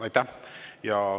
Aitäh!